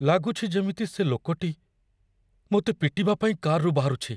ଲାଗୁଛି ଯେମିତି ସେ ଲୋକଟି ମୋତେ ପିଟିବା ପାଇଁ କାର୍‌ରୁ ବାହାରୁଛି।